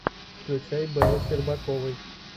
включай белла щербаковой